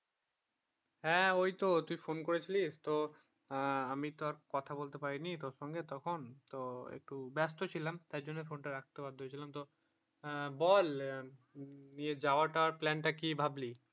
হ্যাঁ ওই তো তুই phone করেছিলিস তো আমি তো আর কথা বলতে পাই নি তোর সঙ্গে তখন তো একটু ব্যাস্ত ছিলাম তাই জন্য phone টা রাখতে বাধ্য হয়েছিলাম তো বল নিয়ে যাবার টাবার plan টা কি ভাবলি?